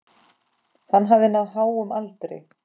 Hann hafði náð háum aldri.